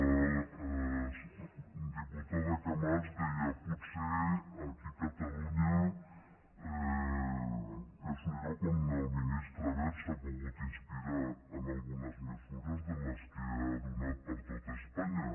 la diputada camats deia potser aquí a catalunya és un lloc on el ministre wert s’ha pogut inspirar en algunes mesures de les que ha donat per a tota espanya